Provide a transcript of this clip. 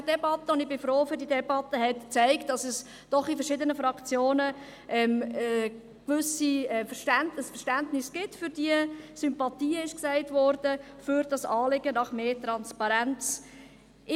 Ich denke, die Debatte – und ich bin froh um diese Debatte – hat gezeigt, dass es doch in verschiedenen Fraktionen ein gewisses Verständnis – «Sympathien» wurde gesagt – für dieses Anliegen nach mehr Transparenz gibt.